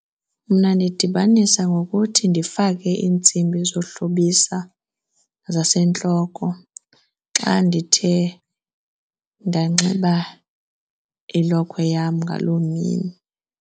Mna ndidibanise ngokuthi ndifake iintsimbi zohlobisa zasentloko xa ndithe ndanxiba ilokhwe yam ngaloo mini.